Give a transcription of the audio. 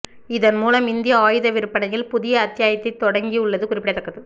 இதன் மூலம் இந்தியா ஆயுத விற்பனையில் புதிய அத்தியாயத்தை தொடங்கி உள்ளது குறிப்பிடத்தக்கது